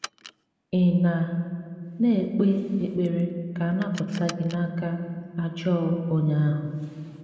Ị̀ na na - ekpe ekpere ka a napụta gị n’aka “ ajọ onye ahụ ”?